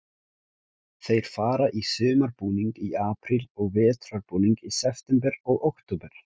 Þeir fara í sumarbúning í apríl og vetrarbúning í september og október.